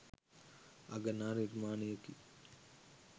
අගනා නිර්මාණයකි.